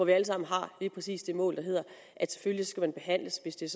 vi alle sammen har lige præcis det mål der hedder at selvfølgelig skal man behandles hvis det